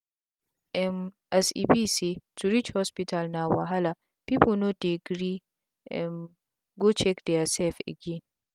um as e be say to reach hospital na wahala pipu no dey gree um go check dia sef again